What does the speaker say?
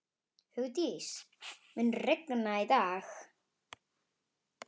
Hugdís, mun rigna í dag?